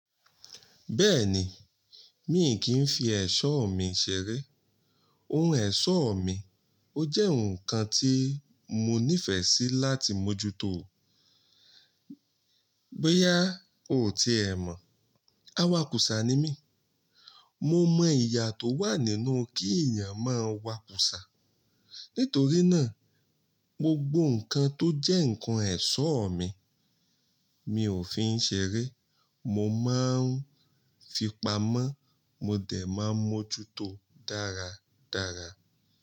Bẹ́ẹ̀ni, mi kì í fi ẹ̀ṣọ́ mi ṣeré. Oun ẹ̀ṣọ́ mi ó jẹ́ oun kan tí mo nífẹ̀ẹ́ sí láti mójúto. Boya ò ti ẹ̀ mọ̀, awakùsà ni mí. Mo mọ ìyà tó wà nínú kí èèyàn máa wakùsà. Nítorí náà, gbogbo nǹkan tó jẹ́ nǹkan ẹ̀ṣọ́ mi, mi ò fin ṣeré. Mo máa ń fi pa mọ́, mo dẹ̀ máa ń mójúto dáradára.